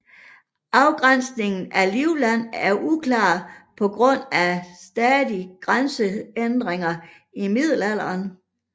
Afgrænsningen af Livland er uklar på grund af stadige grænseændringer i middelalderen